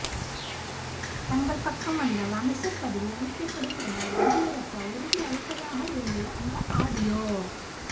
தங்கள் பக்கம் வந்தால் அமைச்சர் பதவி அளிக்கப்படும் என எடியூரப்பா உறுதி அளிப்பதாக இருந்தது அந்த ஆடியோ